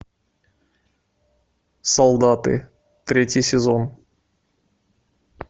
солдаты третий сезон